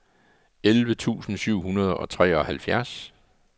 elleve tusind syv hundrede og treoghalvfjerds